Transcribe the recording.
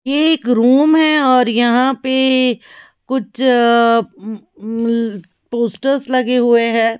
एक रूम है और यहाँ पे कुछ उम्म उम्म पोस्टर्स लगे हुए हैं।